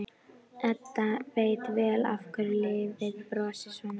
Edda veit vel af hverju lífið brosir svona við henni.